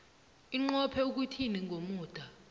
inqophe ukuthini ngomuda